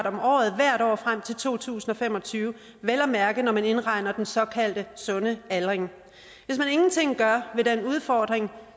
om året hvert år frem til to tusind og fem og tyve vel at mærke når man indregner den såkaldte sunde aldring hvis man ingenting gør ved den udfordring